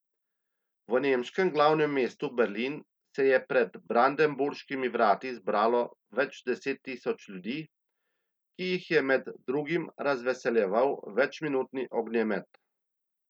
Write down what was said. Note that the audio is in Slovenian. V nemškem glavnem mestu Berlin se je pred brandenburškimi vrati zbralo več deset tisoč ljudi, ki jih je med drugim razveseljeval večminutni ognjemet.